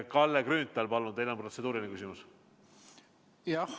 Kalle Grünthal, palun, kas teil on protseduuriline küsimus?